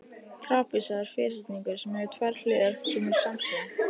trapisa er ferhyrningur sem hefur tvær hliðar sem eru samsíða